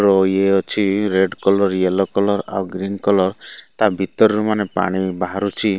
ଓ ଇଏ ଅଛି। Red colour yellow colour ଆଉ ଗ୍ରୀନ କଲର ତା ଭିତରରୁ ମାନେ ପାଣି ବାହାରୁଚି।